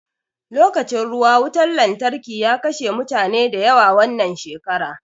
Lokacin ruwa wutan lantarki ya kashe mutane da yawa wannan shekara